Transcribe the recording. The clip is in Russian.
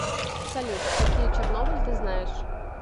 салют какие чернобыль ты знаешь